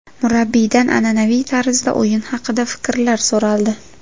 Murabbiydan an’anaviy tarzda o‘yin haqida fikrlari so‘raldi.